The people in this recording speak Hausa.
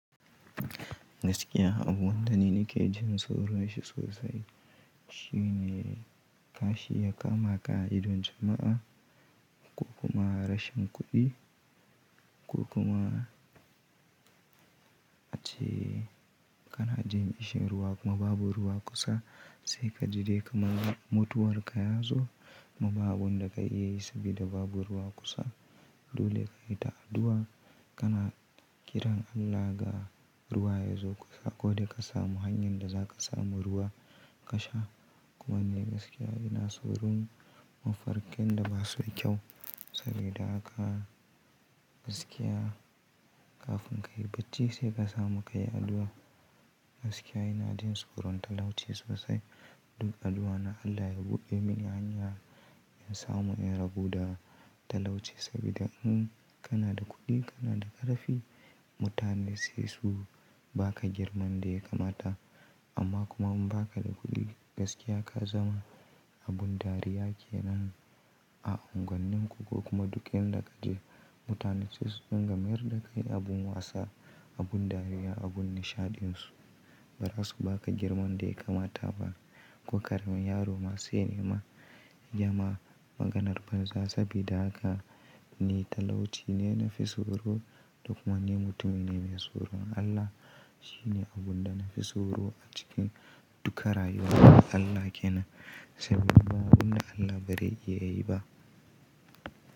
Gaskiya abun da nake jin tsoro sosai shine kashi ya kama ka a idon jama'a, ko kuma rashin kuɗi, ko kuma ace kana jin ƙisin ruwa kuma babu ruwa kusa sai ka ji dai kamar mutuwar ka yazo. Kuma ba abin da ka iya yi sabida babu ruwa kusa dole ka yi ta addu'a kana kiran Allah ga ruwa yazo kusa ko dai ka samu hanyar da za ka samu ruwa ka sha. Kuma ni gaskiya ina tsoron mafarkin da basu da kyau sabida haka gaskiya kafin ka yi bacci sai ka samu ka yi addu'a. Gaskiya ina jin tsoron talauci sosai. Duk addu'a na Allah ya buɗe mini hanya in samu in rabu da talauci sabida in kana da kuɗi kana da ƙarfi, mutane sai su ba ka girman da ya kamata amma kuma in ba ka da kuɗi gaskiya ka zama abin dariya kenan a unguwannin ku ko kuma duk inda kaje. Mutane sai su dinga mayar da kai abin wasa, abin dariya, abin nishaɗinsu. Bara su ba ka girman da ya kamata ba ko karamin yaro ma sai ne ma ya ma maganar banza sabida haka ni talauci ne nafi tsoro duk mangin mutumi ne mai tsoro. Allah shine abun da na fi tsoro a cikin duka rayuwa na Allah kenan saboda abun da Allah bare iya yi ba.